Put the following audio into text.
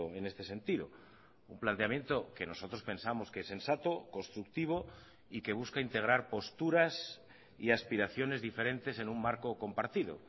en este sentido un planteamiento que nosotros pensamos que es sensato constructivo y que busca integrar posturas y aspiraciones diferentes en un marco compartido